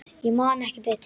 Ég man ekki betur.